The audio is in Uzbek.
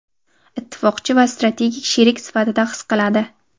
ittifoqchi va strategik sherik sifatida his qiladi.